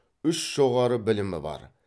үш жоғары білімі бар